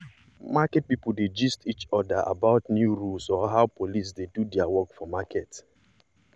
market people dey gist each other about new rules or how police dey do their work for market.